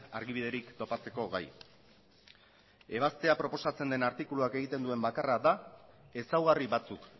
argibiderik topatzeko gai ebaztea proposatzen den artikuluak egiten duen bakarra da ezaugarri batzuk